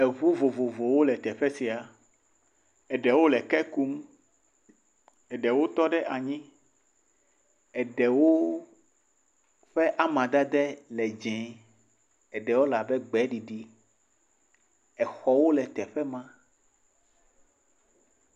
Eŋu vovovowo le teƒe sia eɖewo le ke kum. Eɖewo tɔ ɖe anyi. Eɖewo ƒe amadede le dzee. Eɖewo le abe gbeɖiɖi. Exɔwo le teƒe ma.